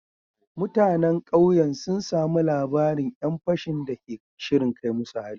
Mutanen kauyen sun samu labarin ‘yan fashin da ke shirin kai musu hari